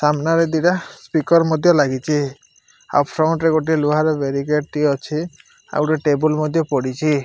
ସାମ୍ନାରେ ଦିଟା ସ୍ପିକର୍ ମଧ୍ୟ ଲାଗିଛି ଆଉ ଫୌଣ୍ଡ ଲୁହାର ବାରିକ୍ୟାଡ ଟି ଅଛି ଆଉ ଗୋଟେ ଟେବୁଲ ପଡ଼ିଛି।